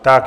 Tak.